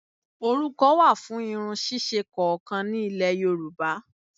Orúkọ wà fún irun ṣíṣe kọ̀ọ̀kan ni Ilẹ̀ Yorùbá